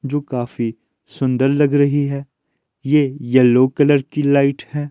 जो काफी सुंदर लग रही है ये येलो कलर की लाइट है।